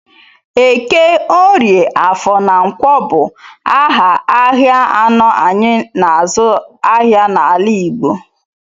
Eke, Orie, Afọ na Nkwọ bụ aha ahịa anọ anyị n'azụ ahịa n'ala Igbo.